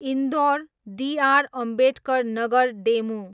Indore, D R Ambedkar Nagar DEMU